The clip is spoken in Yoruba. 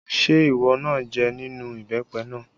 Ṣé ìwọ náà jẹ nínú ìbẹ́pẹ náà?